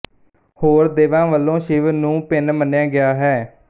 ਹੋਰ ਦੇਵਾਂ ਵਲੋਂ ਸ਼ਿਵ ਨੂੰ ਭਿੰਨ ਮੰਨਿਆ ਗਿਆ ਹੈ